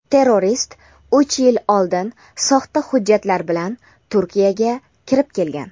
Terrorist uch yil oldin soxta hujjatlar bilan Turkiyaga kirib kelgan.